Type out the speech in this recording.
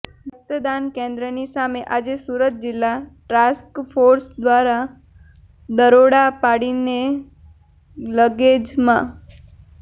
રકતદાન કેન્દ્રની સામે આજે સુરત જિલ્લા ટ્રાસ્ક ફોર્સ દ્વારા દરોડા પાડીને લગેજમાં